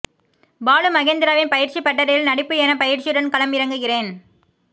பாலு மகேந்திராவின் பயிற்சி பட்டறையில் நடிப்பு என பயிற்சியுடன் களம் இறங்குகிறேன்